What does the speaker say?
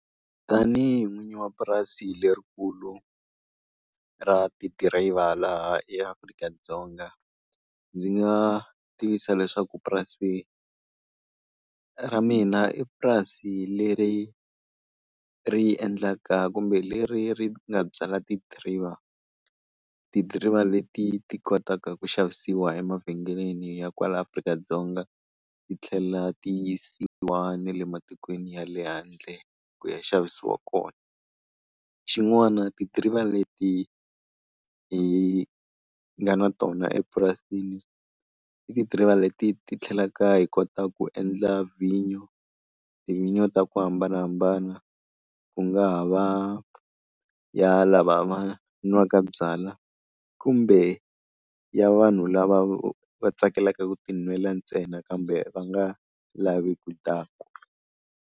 Tanihi n'winyi wa purasi lerikulu ra tidiriva laha eAfrika-Dzonga, ndzi nga tiyisa leswaku purasini ra mina i purasi leri ri endlaka kumbe leri ri nga byala tidiriva. Tidiriva leti ti kotaka ku xavisiwa emavhengeleni ya kwala Afrika-Dzonga ti tlhela ti yisiwa ne le matikweni ya le handle ku ya xavisiwa kona. Xin'wana tidiriva leti hi nga na tona epurasini i tidiriva leti ti tlhelaka hi kota ku endla vhinyo, tivhinyo ta ku hambanahambana. Ku nga ha va ya lava va nwaka byalwa, kumbe ya vanhu lava va tsakelaka ku tinwela ntsena kambe va nga lavi ku dakwa.